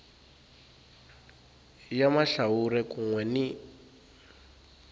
ya mahlawuri kun we ni